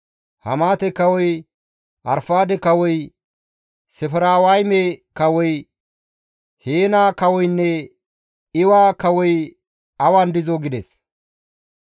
Hamaate kawoy, Arfaade kawoy, Sefarwayme kawoy, Heena kawoynne Iwa kawoy awan dizoo?» gides.